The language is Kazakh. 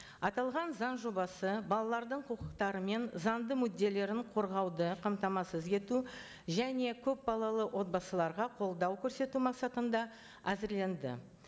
аталған заң жобасы балалардың құқықтары мен заңды мүдделерін қорғауды қамтамасыз ету және көпбалалы отбасыларға қолдау көрсету мақсатында әзірленді